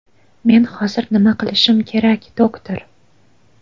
Men hozir nima qilishim kerak, doktor?